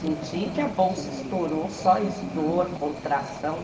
Senti que a bolsa estourou, só dor, contração.